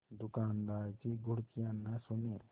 दुकानदार की घुड़कियाँ न सुने